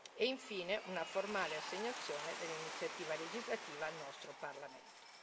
E infine una formale assegnazione dell'iniziativa legislativa al nostro Parlamento.